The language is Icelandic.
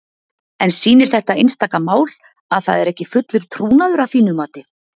En sýnir þetta einstaka mál að það er ekki fullur trúnaður að þínu mati?